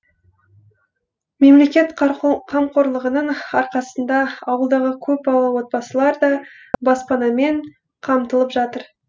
мемлекет қамқорлығының арқасында ауылдағы көп балалы отбасылар да баспанамен қамтылып жатыр